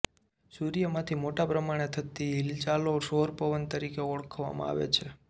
સૂર્યમાંથી મોટા પ્રમાણે થતી હિલચાલો સૌર પવન તરીકે ઓળખવામાં આવે છે